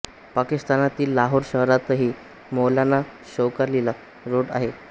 पाकिस्तानातील लाहोर शहरातही मौलाना शौकत ाली रोड आहे